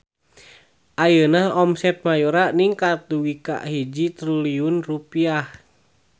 Ayeuna omset Mayora ningkat dugi ka 1 triliun rupiah